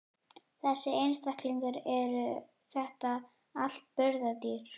Þessir einstaklingar, eru þetta allt burðardýr?